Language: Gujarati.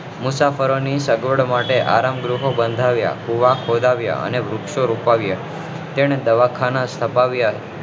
મુસાફરો ની સગવડ માટે આરામગૃહો બંધાવ્યા કુવા ખોદાવ્યા અને વૃક્ષો રોપાવ્યા તેણે દવાખાના સ્થ્પાવ્યા